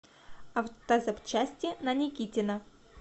автозапчасти на никитина